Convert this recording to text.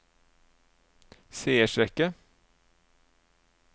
seiersrekke